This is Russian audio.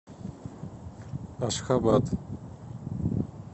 ашхабад